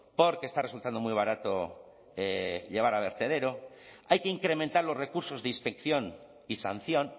porque está resultando muy barato llevar a vertedero hay que incrementar los recursos de inspección y sanción